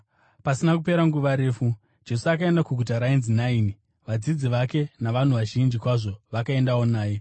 Pasina kupera nguva refu, Jesu akaenda kuguta rainzi Naini, vadzidzi vake navanhu vazhinji kwazvo vakaendawo naye.